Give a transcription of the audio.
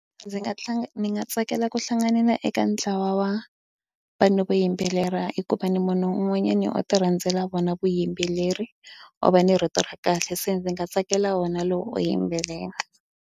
Ndzi nga ni nga tsakela ku hlanganyela eka ntlawa wa vanhu vo yimbelela hikuva ni munhu un'wanyani o tirhandzela vona vuyimbeleri o va ni rito ra kahle se ndzi nga tsakela wona lowu yimbelela.